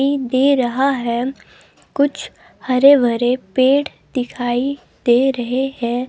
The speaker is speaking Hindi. एक दे रहा है कुछ हरे भरे पेड़ दिखाई दे रहे हैं।